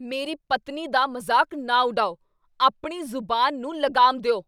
ਮੇਰੀ ਪਤਨੀ ਦਾ ਮਜ਼ਾਕ ਨਾ ਉਡਾਓ! ਆਪਣੀ ਜ਼ੁਬਾਨ ਨੂੰ ਲਗਾਮ ਦਿਉ !